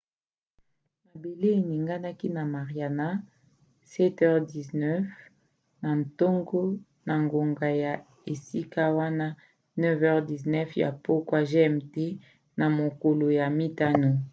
mabele eninganaki na mariana 07h19 na ntongo na ngonga ya esika wana 09h19 ya pokwa gmt na mokolo ya mitano